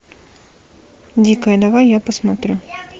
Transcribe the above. дикая давай я посмотрю